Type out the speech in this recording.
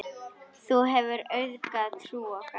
Þú hefur auðgað trú okkar.